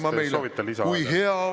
Mart Helme, kas te soovite lisaaega?